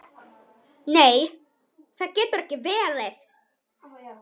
Nei það getur ekki verið.